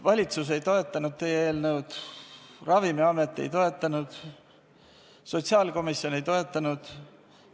Valitsus ei toetanud teie eelnõu, Ravimiamet ei toetanud, sotsiaalkomisjon ei toetanud.